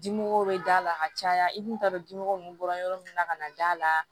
Dimmɔgɔw bɛ d'a la ka caya i kun t'a dɔn dimɔgɔw bɔra yɔrɔ min na ka na d'a la